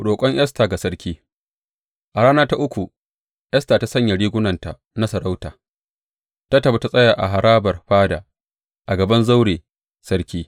Roƙon Esta ga sarki A rana ta uku, Esta ta sanya rigunanta na sarauta, ta tafi ta tsaya a harabar fada, a gaban zaure sarki.